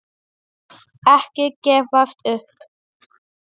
Ekki gefast upp.